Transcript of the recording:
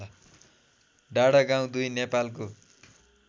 डाँडागाउँ २ नेपालको